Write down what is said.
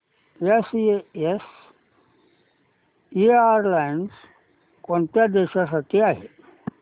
SAS airlines कोणत्या देशांसाठी आहे